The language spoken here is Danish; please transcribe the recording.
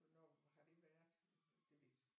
Hvornår har det været det ved jeg sgu ikke